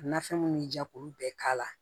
Nafɛn mun bɛ ja k'ulu bɛɛ k'a la